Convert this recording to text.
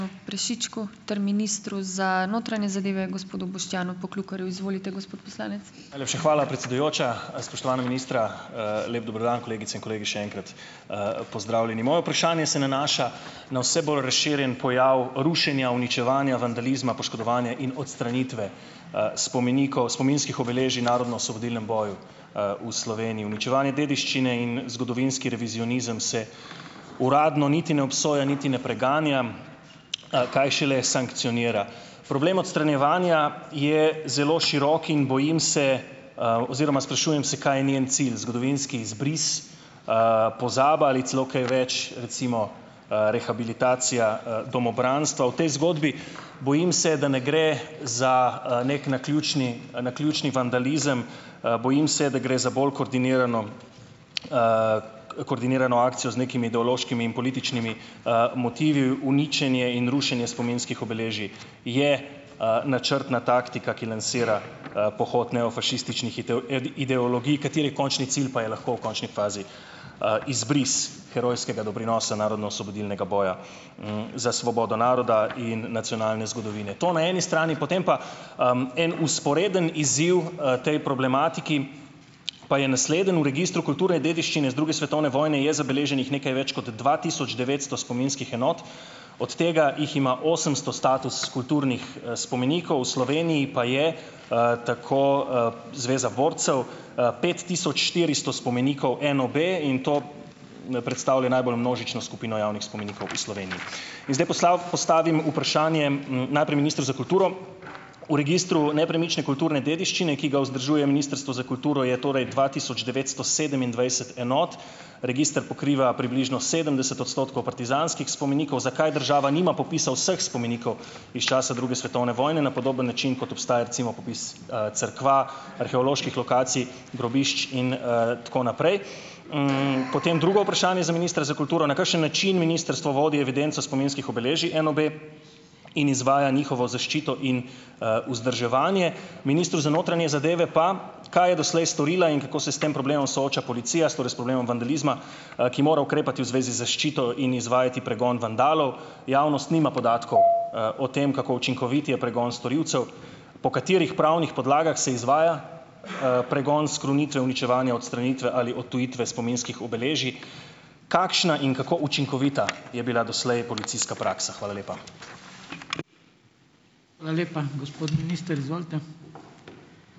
Najlepša hvala, predsedujoča. Spoštovana ministra, lep dober dan, kolegice in kolegi, še enkrat, pozdravljeni. Moje vprašanje se nanaša na vse bolj razširjen pojav rušenja, uničevanja, vandalizma, poškodovanja in odstranitve, spomenikov, spominskih obeležij narodnoosvobodilnem boju, v Sloveniji. Uničevanje dediščine in zgodovinski revizionizem se uradno niti ne obsoja niti ne preganja, kaj šele sankcionira. Problem odstranjevanja je zelo širok in bojim se - oziroma sprašujem se, kaj je njen cilj. Zgodovinski izbris? Pozaba ali celo kaj več, recimo, rehabilitacija, domobranstva. V tej zgodbi - bojim se, da ne gre za, neki naključni naključni vandalizem, bojim se, da gre za bolj koordinirano, koordinirano akcijo z nekimi ideološkimi in političnimi, motivi. Uničenje in rušenje spominskih obeležij je, načrtna taktika, ki lansira, pohod neofašističnih ideologij, katerih končni cilj pa je lahko v končni fazi, izbris herojskega doprinosa narodnoosvobodilnega boja, za svobodo naroda in nacionalne zgodovine. To na eni strani, potem pa - en vzporeden izziv, tej problematiki pa je naslednji. V registru kulturne dediščine z druge svetovne vojne je zabeleženih nekaj več kot dva tisoč devetsto spominskih enot, od tega jih ima osemsto status kulturnih, spomenikov, v Sloveniji pa je - tako, Zveza borcev - pet tisoč štiristo spomenikov NOB in to ne predstavlja najbolj množično skupino javnih spomenikov v Sloveniji. In zdaj poslal postavim vprašanje, najprej ministru za kulturo. V registru nepremične kulturne dediščine, ki ga vzdržuje Ministrstvo za kulturo, je torej dva tisoč devetsto sedemindvajset enot. Register pokriva približno sedemdeset odstotkov partizanskih spomenikov, zakaj država nima popisa vseh spomenikov iz časa druge svetovne vojne na podoben način, kot obstaja, recimo, popis cerkev, arheoloških lokacij, grobišč in, tako naprej. Potem drugo vprašanje za ministra za kulturo. Na kakšen način ministrstvo vodi evidenco spominskih obeležij NOB in izvaja njihovo zaščito in, vzdrževanje? Ministru za notranje zadeve pa - kaj je doslej storila in kako se s tem problemom sooča policija? Torej s problemom vandalizma - ki mora ukrepati v zvezi z zaščito in izvajati pregon vandalov. Javnost nima podatkov, o tem, kako učinkovit je pregon storilcev. Po katerih pravnih podlagah se izvaja, pregon skrunitve, uničevanja, odstranitve ali odtujitve spominskih obeležij? Kakšna in kako učinkovita je bila doslej policijska praksa? Hvala lepa.